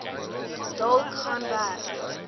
dalk gaan werk